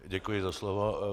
Děkuji za slovo.